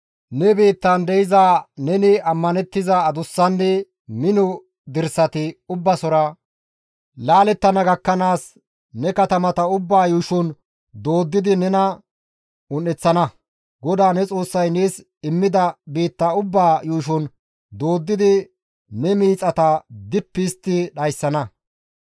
Ne biittan de7iza neni isttan ammanettiza adussanne mino dirsati ubbasora laalettana gakkanaas ne katamata ubbaa yuushon dooddidi nena un7eththana. GODAA ne Xoossay nees immida biitta ubbaa yuushon dooddi ne miixata dippi histti dhayssana.